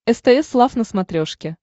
стс лав на смотрешке